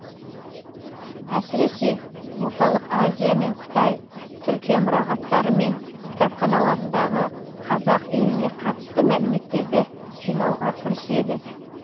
әсіресе орталық азия мен қытай түркия мұрағаттары мен кітапханаларындағы қазақ еліне қатысты мәліметтерді жинауға кіріседі